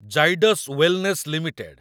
Zydus wellness limited